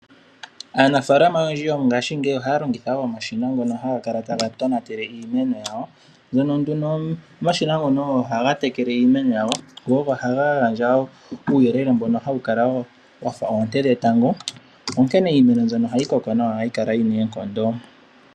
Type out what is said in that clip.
Aanafaalama oyendji yongaashingeyi oha longitha wo omashina ngono haga kala taga tonatele iimeno yawo. Omashina ngoka ogo haga tekele imeno yawo, go ogo haga gandja uuyelele mbono hawu kala wo wa fa oonte dhetango. Onkene iimeno mbyono ohayi koko nawa yo ohayi kala yi na oonkondo.